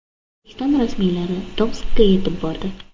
O‘zbekiston rasmiylari Tomskka yetib bordi.